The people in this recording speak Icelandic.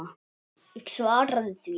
Ég svaraði því ekki.